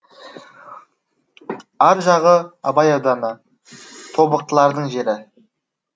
ар жағы абай ауданы тобықтылардың жері